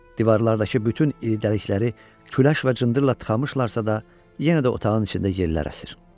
Divarlardakı bütün iri dəlikləri küləş və cındırla tıxamışlarsa da, yenə də otağın içində yellər əsir.